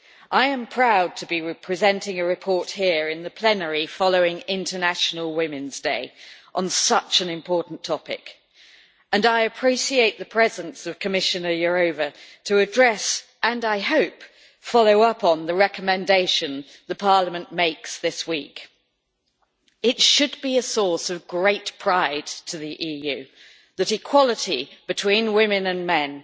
I am proud to be presenting a report here in the plenary, following International Women's Day, on such an important topic and I appreciate the presence of Commissioner Jourová to address and I hope follow up on the recommendation the Parliament makes this week. It should be a source of great pride to the EU that equality between women and men